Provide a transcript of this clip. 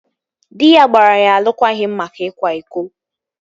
Dị ya gbara ya alụkwaghịm maka ịkwa iko